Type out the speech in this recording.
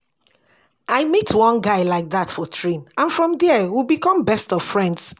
I meet one guy like dat for train and from there we become best of friends